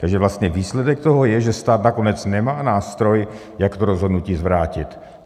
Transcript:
Takže vlastně výsledek toho je, že stát nakonec nemá nástroj, jak to rozhodnutí zvrátit.